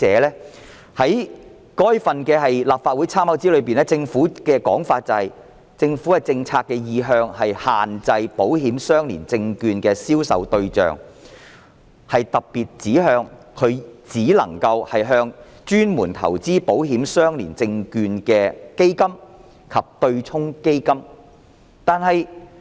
在該份立法會參考資料摘要中，政府的說法是，政府政策的意向是限制保險相連證券的銷售對象，特別指向只能向專門投資保險相連證券的基金及對沖基金。